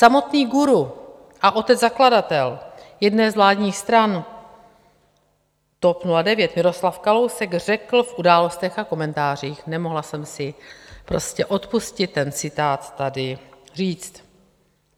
Samotný guru a otec zakladatel jedné z vládních stran, TOP 09, Miroslav Kalousek řekl v Událostech a komentářích - nemohla jsem si prostě odpustit ten citát tady říct.